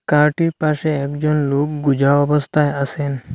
কারটির পাশে একজন লোক গুজা অবস্থায় আছেন।